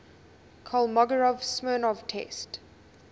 kolmogorov smirnov test